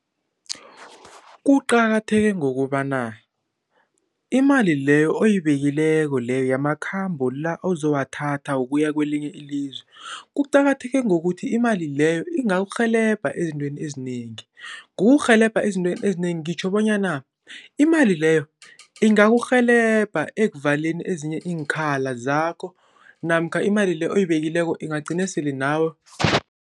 Kuqakatheke ngokobana imali leyo oyibekileko leyo yamakhambo la ozowathatha wokuya kwelinye ilizwe. Kuqakatheke ngokuthi imali leyo ingakurhelebha ezintweni ezinengi. Ngokukurhelebha ezintweni ezinengi ngitjho bonyana imali leyo ingakurhelebha ekuvaleni ezinye iinkhali zakho, namkha imali le oyibekileko ingagcina sele nawe.